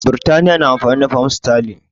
Birtaniya na amfani da fam sterling